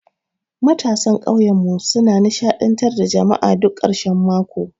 Matasan ƙauyenmu suna nishadantar da jama'a duk karshen mako.